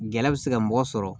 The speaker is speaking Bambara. Gɛlɛya bɛ se ka mɔgɔ sɔrɔ